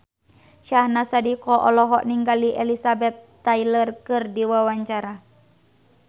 Syahnaz Sadiqah olohok ningali Elizabeth Taylor keur diwawancara